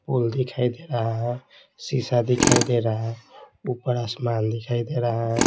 पोल दिखाई दे रहा है शीशा दिखाई दे रहा है ऊपर आसमान दिखाई दे रहा है।